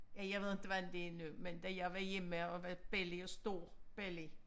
Ja jeg ved ikke hvordan det er nu men da jeg var hjemme og var belli og stor belli